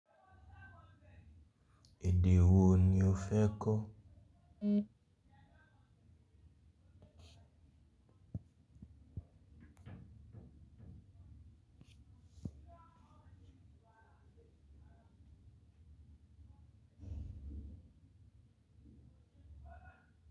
Èdè wo ni o fẹ́ kọ́?